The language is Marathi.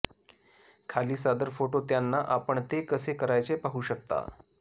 खाली सादर फोटो त्यांना आपण ते कसे करायचे पाहू शकता